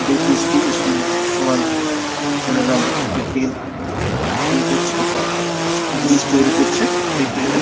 এটি একটি school | school -এ সবাই ছেলেরা প্রাকটিক্যাল এর এযে করছে | জিনিস তৈরী করছে প্রাকটিক্যাল এর |